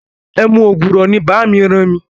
Ẹmu ògùrọ̀ ni bàámi ràn mi.